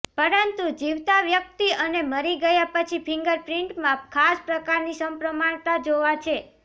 પરંતુ જીવતા વ્યક્તિ અને મરી ગયા પછી ફિંગરપ્રિન્ટમાં ખાસ પ્રકારની સપ્રમાણતા જોવા છે